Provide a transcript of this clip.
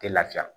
Tɛ lafiya